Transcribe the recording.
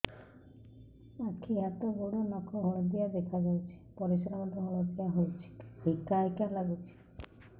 ଆଖି ହାତ ଗୋଡ଼ର ନଖ ହଳଦିଆ ଦେଖା ଯାଉଛି ପରିସ୍ରା ମଧ୍ୟ ହଳଦିଆ ହଉଛି ହିକା ହିକା ଲାଗୁଛି